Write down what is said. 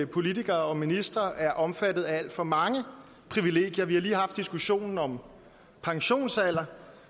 politikere og ministre er omfattet af alt for mange privilegier vi har lige haft diskussionen om pensionsalder